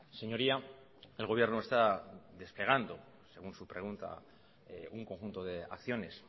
señoría el gobierno está desplegando según su pregunta un conjunto de acciones